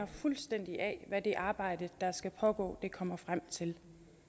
fuldstændig af hvad det arbejde der skal pågå kommer frem til